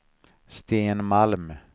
Sten Malm